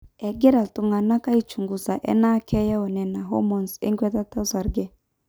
egira iltung'anak aaichungusa enaa keyau nena hormones enkwetata osarge